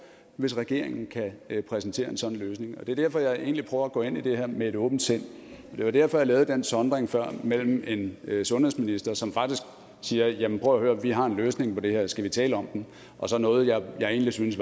hvis regeringen kan præsentere en sådan løsning det er derfor jeg egentlig prøver at gå ind i det her med et åbent sind det var derfor jeg lavet den sondring før mellem en sundhedsminister som faktisk siger at jamen prøv at høre vi har en løsning på det her skal vi tale om den og så noget jeg egentlig synes